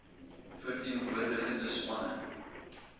ver teenwoordigende spanne